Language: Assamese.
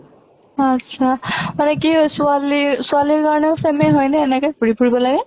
আত্চ্ছা মানে কি হয় ছোৱালী ছোৱালীৰ কাৰণেও same য়ে হয় নে এনেকে ঘুৰি ফুৰিব লাগে?